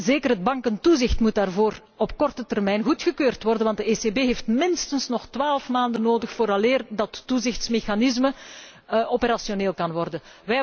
Zeker het bankentoezicht moet daarvoor op korte termijn goedgekeurd worden, want de ECB heeft minstens nog 12 maanden nodig vooraleer dat toezichtmechanisme operationeel kan worden.